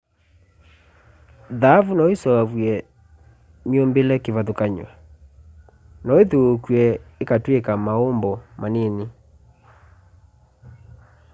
thaavũ no ĩseũvwe myũmbĩle kĩvathũkangany'o no ĩthiuukw'e ĩkatwĩka maũmbo manini